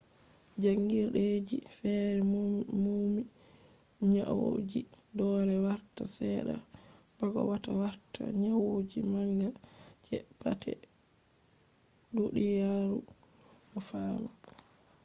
jangirdeji fere numi nyauji dole warta sedda bako wata warta nyauji manga je pat duniyaru o fami